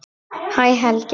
Hæ Helgi minn.